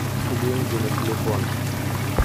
деньги на телефон